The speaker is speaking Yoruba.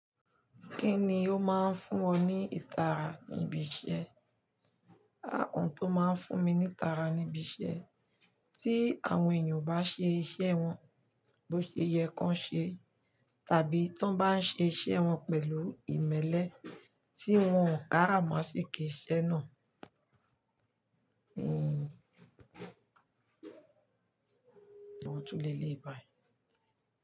Kíni ó máa ń fún ọ ní ìtara níbi iṣẹ́? À oun tó máa ń fún mi ní ìtara níbi iṣẹ́, tí àwọn èèyàn ò bá ṣe iṣẹ́ wọn bó ṣe yẹ kan ṣe tàbí tí wọ́n bá ń ṣe iṣẹ́ wọn pẹ̀lú ìmẹ́lẹ́ tí wọn ò kárà mọ́ sí asiki ise náà. Hmm, àwọn ò tún le lé ìbàì.